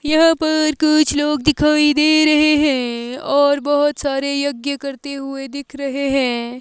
यहां पर कुछ लोग दिखाई दे रहे हैं और बहोत सारे यज्ञ करते हुए दिख रहे हैं।